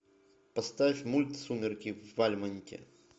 поставь мульт сумерки в вальмонте